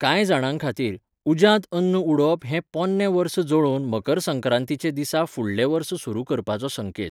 कांय जाणांखातीर, उज्यांत अन्न उडोवप हें पोन्नें वर्स जळोवन मकर संक्रांतीचे दिसा फुडलें वर्स सुरू करपाचो संकेत.